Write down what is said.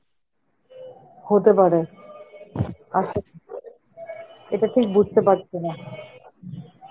হতে পারে, এটা ঠিক বুঝতে পারছি না.